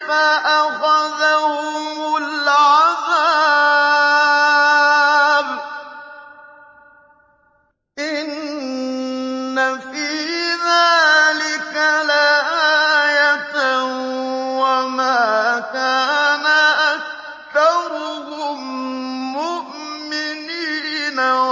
فَأَخَذَهُمُ الْعَذَابُ ۗ إِنَّ فِي ذَٰلِكَ لَآيَةً ۖ وَمَا كَانَ أَكْثَرُهُم مُّؤْمِنِينَ